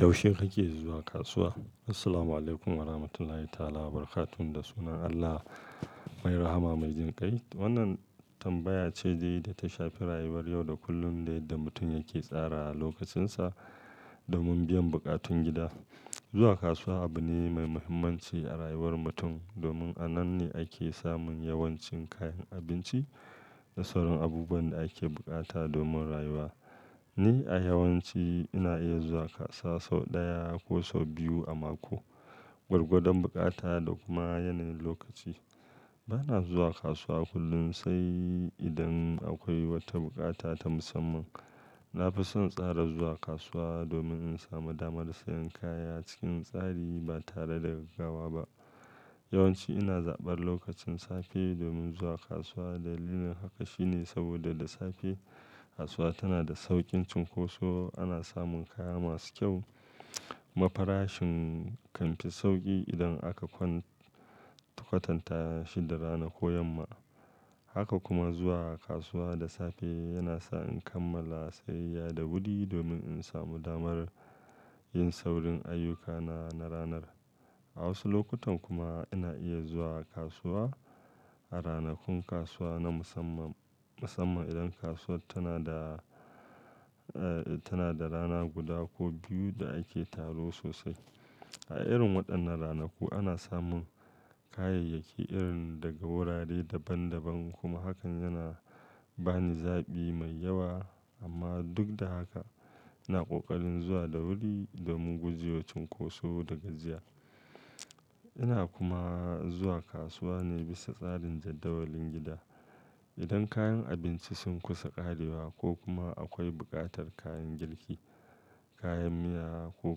Yaushe kake zuwa kasuwa? Assalamualaikum warahmatullahi ta'ala wabarakatuh da sunan Allah mai rahama mai jin kai. Wannan tambaya ce dai ta shafi rayuwar yau da kullum da yadda mutum yake tsara lokacinsa domin biyan buƙatun gida. Zuwa kasuwa abu ne mai muhimmanci a rayuwar mutum domin a nan ne ake samun yawancin kayan abinci da sauran abubuwan da ake bukata domin rayuwa. Ni a yawanci ina iya zuwa kasuwa sau ɗaya ko sau biyu a mako, gwargwadon bukata da kuma yanayin lokaci. Bana zuwa kasuwa kullum sai idan akwai wata bukata ta musamman. Na fi son tsara zuwa kasuwa domin in samu dama da siyan kaya cikin tsari ba tare da gaggawa ba. Yawanci ina zaɓar lokacin safe domin zuwa kasuwa. Dalilin haka shine saboda da safe kasuwa tana da saukin cinkoso, ana samun kaya masu kyau, mafarashin kan fi sauƙi idan aka kwatanta shi da rana ko yamma. Haka kuma zuwa kasuwa da safe yana sa in kammala sayayya da wuri domin in samu damar yin saurin ayyukana na ranar. A wasu lokutan kuma ina iya zuwa kasuwa a ranakun kasuwa na musamman, musamman idan kasuwa tana da, tana da rana guda ko biyu da ake taro sosai. A irin waɗannan ranaku ana samun kayayyaki irin daga wurare daban daban kuma hakan yana ba ni zaɓi mai yawa. Amma duk da haka ina ƙoƙarin zuwa da wuri domin gujewa cinkoso da gajiya. Ina kuma zuwa kasuwa ne bisa tsarin jadawalin gida. Idan kayan abinci sun kusa ƙarewa ko kuma akwai buƙatar kayan girki, kayan miya ko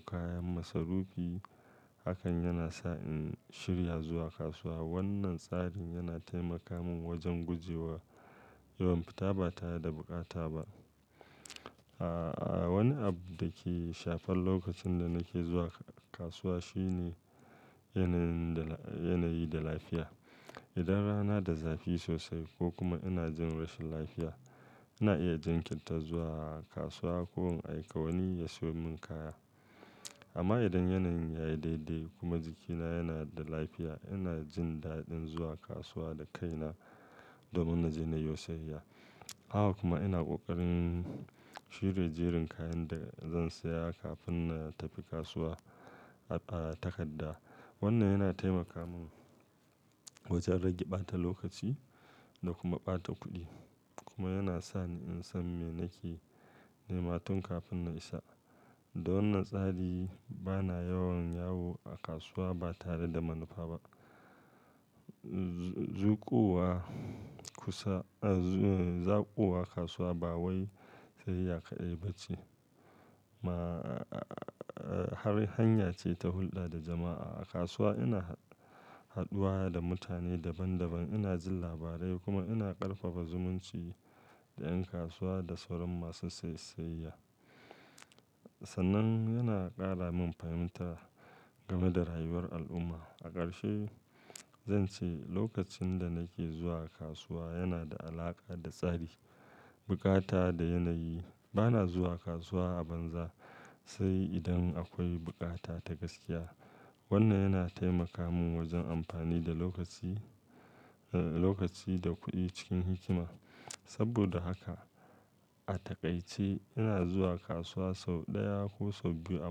kayan masarufi, hakan yana sa in shirya zuwa kasuwa. Wannan tsarin yana taimaka min wajen guje wa yawan fita ba tare da bukata ba. Wani abu da ke shafar lokacin da nake zuwa kasuwa shine yanayi da lafiya. Idan rana da zafi sosai ko kuma ina jin rashin lafiya, ina iya jinkinta zuwa kasuwa ko in aika wani ya siyo min kaya. Amma idan yanayin yayi daidai kuma jikina yana da lafiya, ina jin daɗin zuwa kasuwa da kaina domin na je yiwo siyayya. Haka kuma ina ƙoƙarin shirya jerin kayan da zan saya kafin na tafi kasuwa a takarda. Wannan yana taimaka min wajen rage ɓata lokaci da kuma ɓata kuɗi kuma yana sa ni in san me nake nema tun kafin na isa. Da wannan tsari bana yawan yawo a kasuwa ba tare da manufa ba. Zuƙuwa kusa, zaɓuwa kasuwa ba wai siyayya ƙaɗai ba ce. Ma, har hanya ce ta hulɗa da jama'a. A kasuwa ina hadduwa da mutane daban daban, ina jin labarai kuma ina ƙarfafa zumunci da ƴan kasuwa da sauran masu sai siyayya. Sannan yana ƙara min fahimta gama da rayuwar al'umma. A ƙarshe zan ce lokacin da nake zuwa kasuwa yana da alaƙa da tsari, bukata da yanayi. Bana zuwa kasuwa a banza sai idan akwai bukata ta gaskiya. Wannan yana taimaka min wajen amfani da lokaci, lokaci da kuɗi cikin hikima. Saboda haka a taƙaice ina zuwa kasuwa sau ɗaya ko sau biyu a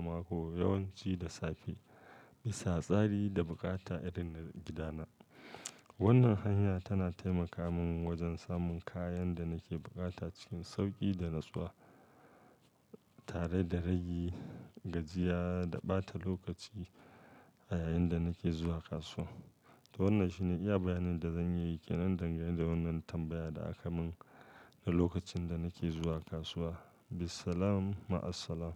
mako yawanci da safe bisa tsari da bukata irin na gidana. Wannan hanya tana taimaka mun wajen samun kayan da nake bukata cikin sauƙi da natsuwa tare da rage gajiya da ɓata lokaci a yayin da nake zuwa kasuwa. To wannan shine iya bayanin da zan yi kenan dangane da wannan tambaya da aka mun na lokacin da nake zuwa kasuwa. Bissalam ma assalam.